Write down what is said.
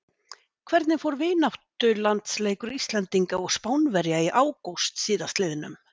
Hvernig fór vináttulandsleikur Íslendinga og Spánverja í ágúst síðastliðnum?